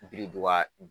Biriduga